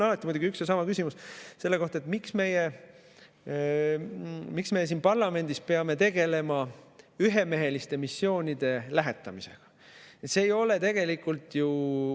Aga mul on selle kohta alati muidugi üks ja sama küsimus: miks me siin parlamendis peame tegelema ühemeheliste missioonide lähetamisega?